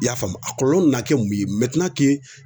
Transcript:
I y'a faamu a kɔlɔlɔ mana kɛ mun ye